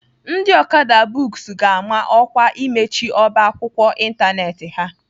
Ndị Okada books ga-ama ọkwa imechi ọba akwụkwọ ịntanetị ha.